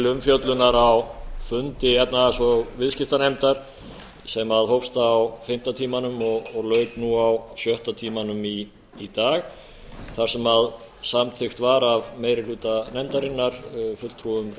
umfjöllunar á fundi efnahags og viðskiptanefndar sem hófst á fimmta tímanum og lauk nú á sjötta tímanum í dag þar sem samþykkt var af meiri hluta nefndarinnar fulltrúum